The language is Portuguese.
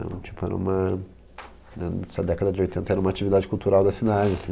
Era um tipo era uma, né nessa década de oitenta era uma atividade cultural da cidade. Assim